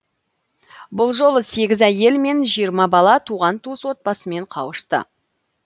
бұл жолы сегіз әйел мен жиырма бала туған туыс отбасымен қауышты